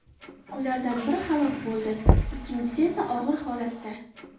Ulardan biri halok bo‘ldi, ikkinchisi esa og‘ir holatda.